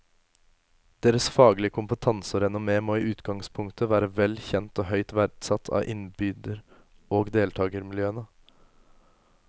Deres faglige kompetanse og renommé må i utgangspunktet være vel kjent og høyt verdsatt av innbyder og deltagermiljøene.